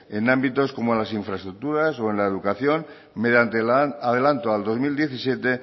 en ámbitos como las infraestructuras o en la educación mediante el adelanto al dos mil diecisiete